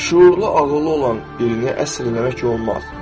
Şüurlu, ağıllı olan birini əsir eləmək olmaz.